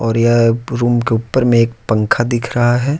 और यह रूम के ऊपर में एक पंखा दिख रहा है।